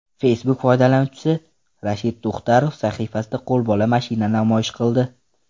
Facebook foydalanuvchisi Rashid Tuxtarov sahifasida qo‘lbola mashina namoyish qildi.